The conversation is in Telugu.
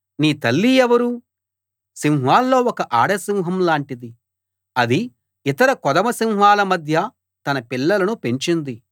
నీ తల్లి ఎవరు సింహాల్లో ఒక ఆడసింహం లాంటిది అది ఇతర కొదమసింహాల మధ్య తన పిల్లలను పెంచింది